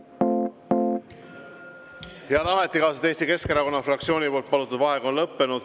Head ametikaaslased, Eesti Keskerakonna fraktsiooni palutud vaheaeg on lõppenud.